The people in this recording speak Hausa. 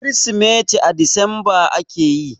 Kirsimeti a Disamba ake yi.